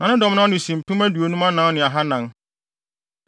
Na ne dɔm no ano si mpem aduonum anan ne ahannan (54,400).